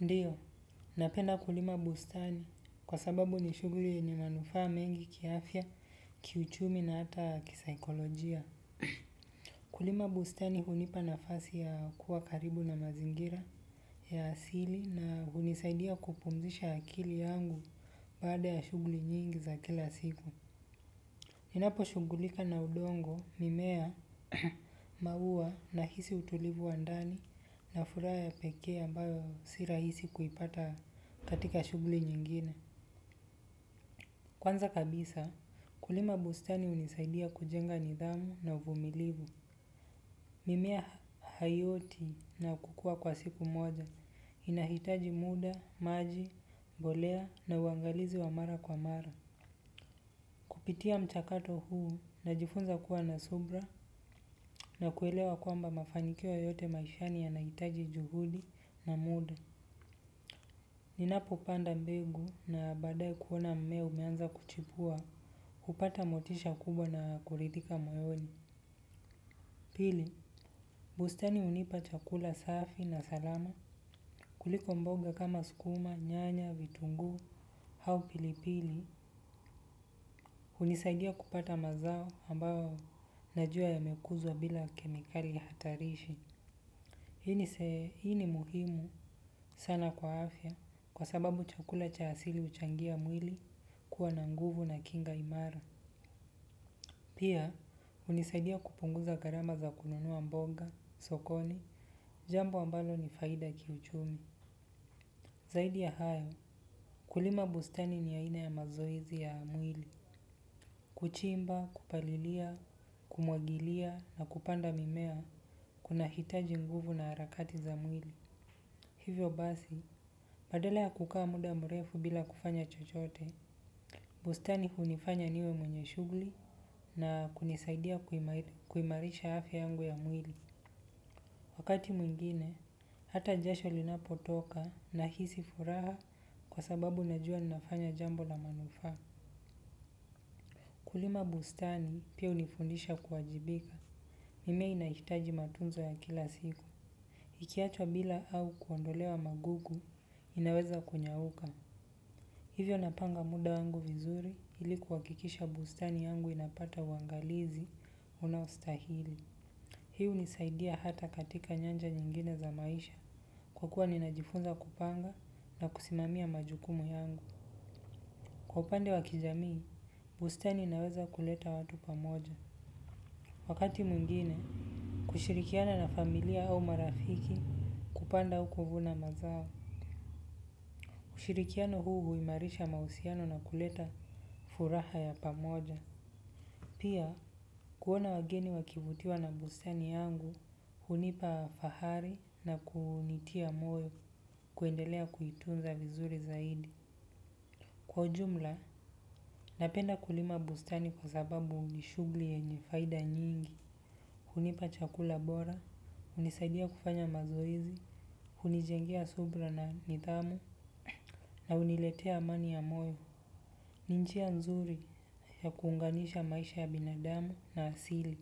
Ndiyo, napenda kulima bustani kwa sababu ni shughuli yenye manufaa mengi kiafya, kiuchumi na hata kisaikolojia. Kulima bustani hunipa nafasi ya kuwa karibu na mazingira ya asili na hunisaidia kupumzisha akili yangu baada ya shughuli nyingi za kila siku. Ninaposhugulika na udongo mimea maua na hisi utulivu wa ndani na furaha ya pekee ambayo si rahisi kuipata katika shughuli nyingine. Kwanza kabisa kulima bustani hunisaidia kujenga nidhamu na vumilivu. Mimea haioti na kukua kwa siku moja inahitaji muda maji mbolea na uangalizi wa mara kwa mara kupitia mchakato huu najifunza kuwa na subira kwamba mafanikio yoyote maishani yanahitaji juhudi na muda. Ninapo panda mbegu na baadae kuona mmea umeanza kuchipua, hupata motisha kubwa na kuridhika moyoni. Pili, bustani unipa chakula safi na salama. Kuliko mboga kama sukuma, nyanya, vitungu, haupilipili, unisadia kupata mazao ambao najua ya mekuzwa bila kemikali hatarishi. Hii ni muhimu sana kwa afya kwa sababu chakula cha asili huchangia mwili kuwa na nguvu na kinga imara. Pia hunisaidi kupunguza gharama za kununua mbogo sokoni jambo ambalo ni faida kiuchumi. Zaidi ya hayo, kulima bustani ni aina ya mazoezi ya mwili. Kuchimba, kupalilia, kumwagilia na kupanda mimea kuna hitaji nguvu na harakati za mwili. Hivyo basi, badala ya kukaa muda mrefu bila kufanya chochote. Bustani hunifanya niwe mwenye shughuli na kunisaidia kuimarisha afya yangu ya mwili. Wakati mwingine, hata jasho linapo toka na hisi furaha kwa sababu najua na nafanya jambo la manufa. Kulima bustani pia hunifundisha kuwajibika. Mimei ina hitaji matunzo ya kila siku. Iki achwa bila au kuondelewa magugu inaweza kunyauka. Hivyo napanga muda wangu vizuri iliku hakikisha bustani yangu inapata uangalizi unaustahili. Hii hunisaidia hata katika nyanja nyingine za maisha. Kwa kuwa ninajifunza kupanga na kusimamia majukumu yangu. Kwa upande wakijamii, bustani inaweza kuleta watu pamoja. Wakati mwingine, kushirikiana na familia au marafiki kupanda au kuvuna mazao. Ushirikiano huu huimarisha mahusiano na kuleta furaha ya pamoja. Pia kuona wageni wakivutiwa na bustani yangu hunipa fahari na kunitia moyo kuendelea kuitunza zaidi. Kwa ujumla, napenda kulima bustani kwa sababu ni shughuli yenye faida nyingi. Hunipa chakula bora, hunisadia kufanya mazoezi, hunijenge subira na nidhamu, na huniletea amani ya moyo. Ni njia nzuri ya kuunganisha maisha ya binadamu na asili.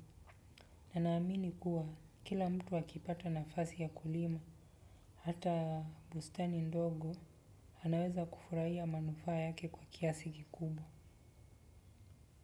Nina amini kuwa kila mtu akipata nafasi ya kulima, hata bustani ndogo, anaweza kufurahia manufaa yake kwa kiasi kikubwa.